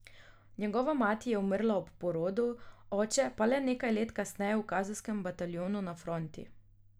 Njegova mati je umrla ob porodu, oče pa le nekaj let kasneje v kazenskem bataljonu na fronti.